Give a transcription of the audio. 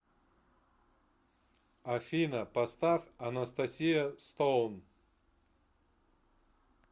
афина поставь анастасия стоун